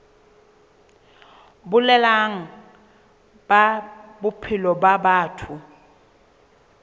boleng ba bophelo ba batho